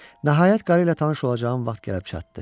Nəhayət qarı ilə tanış olacağım vaxt gəlib çatdı.